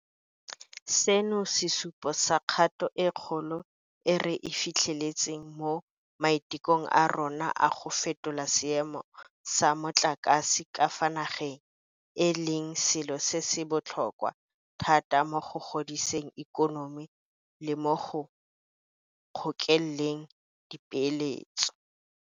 Seno ke sesupo sa kgato e kgolo e re e fitlheletseng mo maitekong a rona a go fetola seemo sa motlakase ka fa nageng, e leng selo se se botlhokwa thata mo go godiseng ikonomi le mo go ngokeleng dipeeletso.